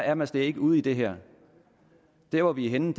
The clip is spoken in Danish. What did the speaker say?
er man slet ikke ude i det her der hvor vi er henne